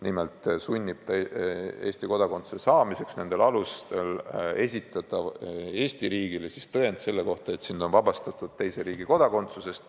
Nimelt tuleb Eesti kodakondsuse saamiseks nendel alustel esitada Eesti riigile tõend selle kohta, et sind on vabastatud teise riigi kodakondsusest.